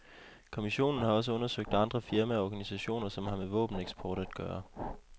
Kommissionen har også undersøgt andre firmaer og organisationer, som har med våbeneksport at gøre.